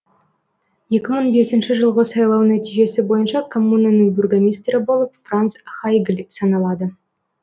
екі мың бесінші жылғы сайлау нәтижесі бойынша коммунаның бургоминистрі болып франц хайгль саналады